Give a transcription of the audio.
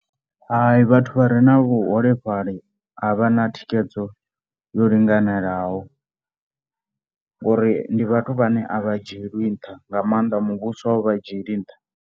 Hai, vhathu vha re na vhuholefhali a vha na thikhedzo yo linganelaho ngori ndi vhathu vhane a vha dzhielwi nṱha nga maanḓa muvhuso a u vha dzhieli nṱha.